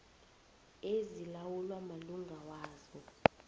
ezilawulwa malunga wazo